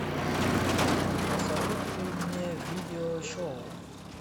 посоветуй мне видео шоу